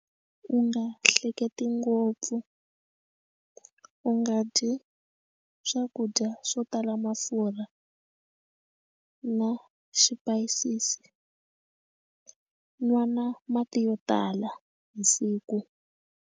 U nga hleketi ngopfu u nga dyi swakudya swo tala mafurha na swipayisisi nwa na mati yo tala hi siku.